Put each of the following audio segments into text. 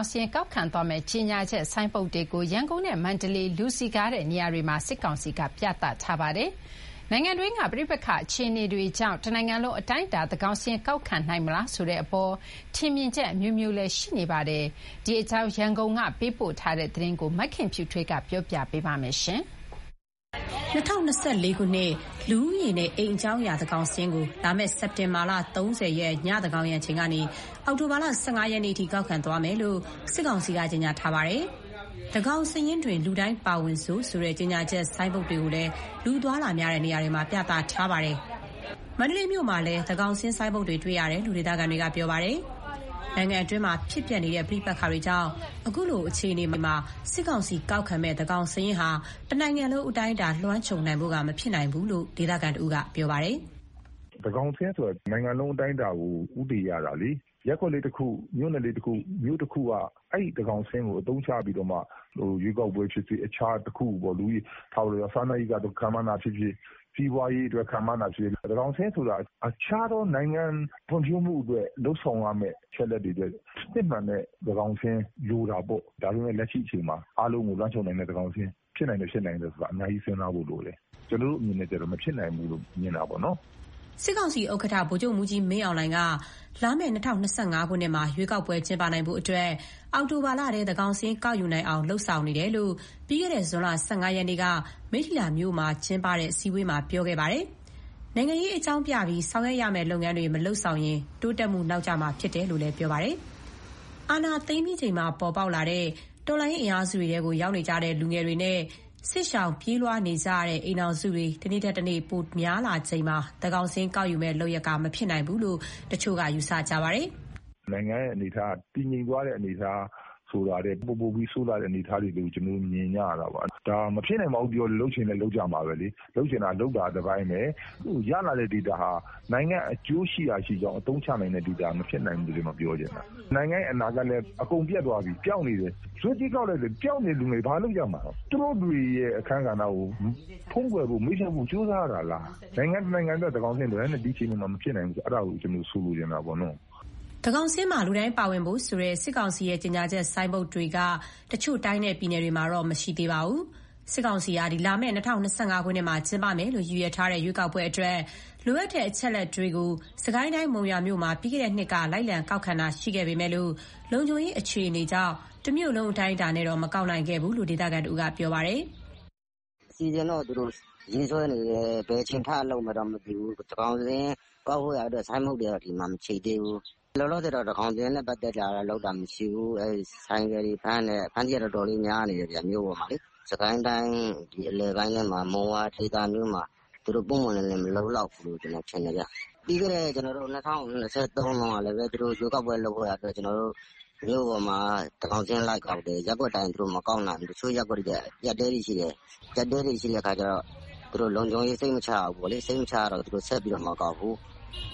င်စာရင်း ကောက်ခံသွားမယ့် ကြေညာချက်ဆိုင်းဘုတ်တွေကို ရန်ကုန်နဲ့မန္တလေးက လူစည်ကားတဲ့နေရာတွေမှာ စစ်ကောင်စီက ပြသထားပါတယ်။ နိုင်ငံတွင်းက ပဋိပက္ခအခြေအနေတွေကြောင့် တနိုင်ငံလုံးအတိုင်းအတာ သန်းခေါင်စာရင်း ကောက်ခံနိုင်မလားဆိုတဲ့အပေါ် ထင်မြင်ချက်အမျိုးမျိုးလည်း ရှိနေပါတယ်။ ဒီအကြောင်း ရန်ကုန်ကပေးပို့ထားတဲ့ သတင်းကိုမခင်ဖြူထွေးက တင်ပြပေးထားပါတယ်။ ၂၀၂၄ ခုနှစ် လူဦးရေနဲ့ အိမ်အကြောင်းအရာ သန်းခေါင်စာရင်းကို လာမယ့် စက်တင်ဘာလ ၃၀ ရက် ညာဥ့်သန်းခေါင်ယံအချိန်ကနေ အောက်တိုဘာလ ၁၅ ရက်နေ့အထိ ကောက်ခံသွားမယ်လို့ စစ်ကောင်စီက ကြေညာထားပါတယ်။ သန်းခေါင်စာရင်းတွင် လူတိုင်းပါဝင်စို့ဆိုတဲ့ ကြေညာချက်ဆိုင်းဘုတ်တွေကိုလည်း လူအသွားအလာများတဲ့ နေရာတွေမှာ ပြသထားတာပါ။ မန္တလေးမြို့မှာလည်း သန်းခေါင်စာရင်းဆိုင်းဘုတ်တွေ တွေ့ရတယ်လို့ ဒေသခံတွေက ပြောပါတယ်။ နိုင်ငံတွင်းမှာဖြစ်ပျက်နေတဲ့ ပဋိပက္ခတွေကြောင့် အခုလို အခြေအနေမှာ စစ်ကောင်စီကောက်ခံမယ့် သန်းခေါင်စာရင်းဟာ တနိုင်ငံလုံးအတိုင်းအတာ လွှမ်းခြုံနိုင်ဖို့ကမဖြစ်နိုင်ဘူးလို့ ဒေသခံတဦးက ပြောပါတယ်။ "သန်းခေါင်စာရင်းဆိုတာ တနိုင်ငံလုံးအတိုင်းအတာကို ဦးတည်ရတာလေ။ ရပ်ကွက်လေးတခု၊ မြို့နယ်လေးတခု၊ မြို့တခုက အဲဒီသန်းခေါင်စာရင်းကို အသုံးချပြီးတော့မှ ရွေးကောက်ပွဲဖြစ်ဖြစ် တခြားတခုခုပေါ့။ စားနပ်ရိက္ခာအတွက် ခန့်မှန်းတာပဲဖြစ်ဖြစ်၊ စီးပွားရေးအတွက် ခန့်မှန်းတာဖြစ်ဖြစ် သန်းခေါင်စာရင်းဆိုတာ နိုင်ငံဖွံ့ဖြိုးမှုအတွက် လုပ်ဆောင်ရမယ့် အချက်အလက်တွေအတွက် စစ်မှန်တဲ့သန်းခေါင်စာရင်း လိုတာပေါ့။ ဒါပေမဲ့ လက်ရှိအချိန်မှာ အားလုံးကိုလွှမ်းခြုံနိုင်မယ့် သန်းခေါင်စာရင်း ဖြစ်နိုင်၊ မဖြစ်နိုင်ဆိုတာ အများကြီး စဉ်းစားဖို့လိုတယ်။ ကျနော်တို့ အမြင်နဲ့ကျတော့ မဖြစ်နိုင်ဘူးလို့ မြင်တာပေါ့နော်။" စစ်ကောင်စီဥက္ကဋ္ဌ ဗိုလ်ချုပ်မှူးကြီးမင်းအောင်လှိုင်က လာမယ့် ၂၀၂၅ ခုနှစ်မှာ ရွေးကောက်ပွဲ ပြုလုပ်နိုင်ဖို့ အောက်တိုဘာလထဲ သန်းခေါင်စာရင်း ကောက်ယူနိုင်အောင် လုပ်ဆောင်နေတယ်လို့ ပြီးခဲ့တဲ့ ဇွန်လ ၁၅ ရက်နေ့က မိတ္ထီလာမြို့မှာ ပြုလုပ်တဲ့ အစည်းအဝေးမှာ ပြောခဲ့ပါတယ်။ နိုင်ငံရေးအကြောင်းပြပြီး ဆောင်ရွက်ရမယ့် လုပ်ငန်းတွေကို မလုပ်ဆောင်ရင် တိုးတက်မှုနောက်ကျမှာ ဖြစ်တယ်လို့လည်း ပြောပါတယ်။ အာဏာသိမ်းပြီးချိန်မှာ ပေါ်ပေါက်လာတဲ့ တော်လှန်ရေးအင်အားစုတွေထဲ ရောက်နေတဲ့ လူငယ်တွေနဲ့ စစ်ရှောင်ပြေးလွှားနေရတဲ့ အိမ်ထောင်စုတွေ တနေ့ထက်တနေ့ တိုးလာနေချိန်မှာ သန်းခေါင်စာရင်း ကောက်ခံမယ့်လုပ်ရပ်က မဖြစ်နိုင်ဘူးလို့ တချို့က ယူဆနေတာပါ။ "နိုင်ငံရဲ့အနေအထားက တည်ငြိမ်သွားတယ်ဆိုတာထက် ပိုပိုပြီးဆိုးလာတဲ့ အနေအထားတွေလို့ ကျနော်တို့ မြင်နေကြရတယ်။ ဒါ မဖြစ်နိုင်ပါဘူးပြောလည်း လုပ်ချင်ရင် လုပ်ကြမှာပဲလေ။ လုပ်ချင်တာလုပ်တာက တပိုင်းပဲ။ ရလာတဲ့ဒေတာဟာ နိုင်ငံ့အကျိုးရှိရာရှိကြောင်း အသုံးချနိုင်တဲ့ဒေတာ မဖြစ်နိုင်ဘူးလို့ ပြောချင်တာ။ နိုင်ငံရဲ့အနာဂတ်လည်း အကုန်ပျက်သွားပြီ၊ ပျောက်နေတယ်။ ဇွတ်ကြီးကောက်လိုက်လည်း ပျောက်နေတဲ့လူငယ်တွေ ဘာလုပ်ရမှာလဲ။ သူတို့တတွေရဲ့ အခန်းကဏ္ဍကို ဖုံးကွယ်ဖို့၊ မေ့ဖျောက်ဖို့ ကြိုးစားရတာလား။ နိုင်ငံတနိုင်ငံအတွက် သန်းခေါင်စာရင်းလိုတယ်။ ဒါပေမဲ့ ဒီအခြေအနေမှာ မဖြစ်နိုင်ဘူးဆိုတာ အဲဒါကိုဆိုလိုချင်တာ။" သန်းခေါင်စာရင်းမှာ လူတိုင်းပါဝင်ဖို့ဆိုတဲ့ စစ်ကောင်စီရဲ့ ကြေညာချက်ဆိုင်းဘုတ်တွေက တချို့တိုင်းနဲ့ ပြည်နယ်တွေမှာတော့ မရှိသေးဘူးလို့ သိရပါတယ်။ စစ်ကောင်စီက လာမယ့် ၂၀၂၅ မှာ ကျင်းပမယ်လို့ ရည်ရွယ်ထားတဲ့ ရွေးကောက်ပွဲအတွက် လိုအပ်တဲ့အချက်အလက်တွေကိုတော့ စစ်ကိုင်းတိုင်း၊ မုံရွာမြို့မှာ ပြီးခဲ့တဲ့နှစ်က လိုက်လံကောက်ခံတာ ရှိခဲ့ပေမယ့် လုံခြုံရေးအခြေအနေကြောင့် တမြို့လုံးအတိုင်းအတာတော့ မကောက်နိုင်ခဲ့ဘူးလို့ ဒေသခံတဦးက ပြောပါတယ်။ "အစီအစဉ်တော့ သူတို့ရေးဆွဲနေတယ်။ ဘယ်အချိန် ထလုပ်မယ်တော့ မသိဘူး။ သန်းခေါင်စာရင်း ကောက်ဖို့ရာအတွက် ဆိုင်းဘုတ်တွေကတော့ ဒီမှာ မချိတ်သေးဘူး။ လောလောဆယ်တော့ သန်းခေါင်စာရင်းနဲ့ ပတ်သက်တာတော့ လုပ်တာမရှိသေးဘူး။ ဆိုင်ကယ်တွေတော့ဖမ်းတယ်။ အဖမ်းအဆီးက မြို့ပေါ်မှာ တော်တော်လေးများနေတယ်။ စစ်ကိုင်းတိုင်းအလယ်ပိုင်းထဲမှာ မုံရွာဒေသမျိုးမှာ သူတို့ပွင့်ပွင့်လင်းလင်း မလုပ်လောက်ဘူးလို့ ကျနော်ထင်တယ်ဗျ။ ပြီးခဲ့တဲ့ ၂၀၂၃ တုန်းကလည်းပဲ သူတို့ရွေးကောက်ပွဲ လုပ်ဖို့ရာအတွက် မြို့ပေါ်မှာ သန်းခေါင်စာရင်း လိုက်ကောက်တယ်။ ရပ်ကွက်တိုင်း သူတို့မကောက်နိုင်ဘူး။ တချို့ရပ်ကွက်တွေကျ အကျပ်အတည်းတွေရှိတယ်။ အကျပ်အတည်းတွေ ရှိတဲ့အခါကျတော့ သူတို့လုံခြုံရေး စိတ်မချရဘူးပေါ့လေ။ စိတ်မချရတော့ သူတို့ဆက်ပြီးမကောက်ဘူး။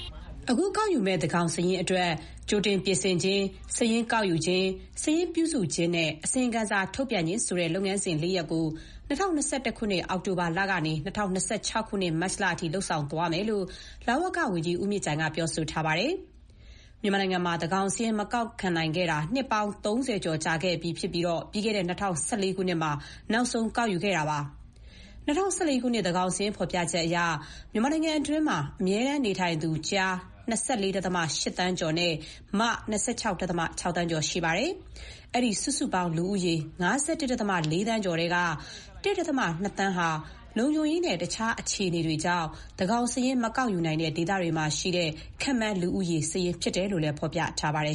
" အခုကောက်ယူမယ့် သန်းခေါင်စာရင်းအတွက် ကြိုတင်ပြင်ဆင်ခြင်း၊ စာရင်းကောက်ယူခြင်း၊ စာရင်းပြုစုခြင်းနဲ့ အစီရင်ခံစာထုတ်ပြန်ခြင်း ဆိုတဲ့ လုပ်ငန်းစဉ် ၄ ရပ်ကို ၂၀၂၆ ခုနှစ် မတ်လအထိ လုပ်ဆောင်သွားမယ်လို့ လဝကဝန်ကြီး ဦးမြင့်ကြိုင်က ပြောထားပါတယ်။ မြန်မာနိုင်ငံမှာ သန်းခေါင်စာရင်း မကောက်ခံနိုင်ခဲ့တာ နှစ်ပေါင်း ၃၀ ကြာပြီးတဲ့နောက် ပြီးခဲ့တဲ့ ၂၀၁၄ ခုနှစ်မှာ နောက်ဆုံးကောက်ယူခဲ့တာပါ။ ၂၀၁၄ ခုနှစ် သန်းခေါင်စာရင်း ဖော်ပြချက်အရ မြန်မာနိုင်ငံတွင်းမှာ အမြဲတမ်းနေထိုင်သူ ကျား ၂၄.၈ သန်းကျော်နဲ့ မ ၂၆.၆ သန်းကျော် ရှိပါတယ်။ အဲဒီစုစုပေါင်း လူဦးရေ ၅၁.၄ သန်းကျော်ထဲက ၁.၂ သန်းဟာ လုံခြုံရေးနဲ့ တခြားအခြေအနေတွေကြောင့် သန်းခေါင်စာရင်း မကောက်ယူနိုင်တဲ့ဒေသတွေမှာရှိတဲ့ ခန့်မှန်းလူဦးရေ စာရင်းဖြစ်တယ်လို့ ဖော်ပြထားပါတယ်